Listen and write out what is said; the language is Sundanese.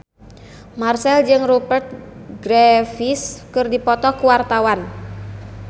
Marchell jeung Rupert Graves keur dipoto ku wartawan